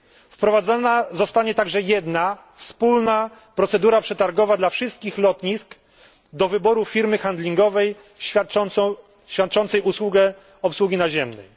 Wprowadzona zostanie także jedna wspólna procedura przetargowa dla wszystkich lotnisk dotycząca wyboru firmy handlingowej świadczącej usługę obsługi naziemnej.